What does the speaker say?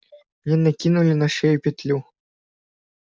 мне накинули на шею петлю